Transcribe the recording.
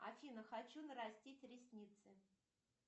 афина хочу нарастить ресницы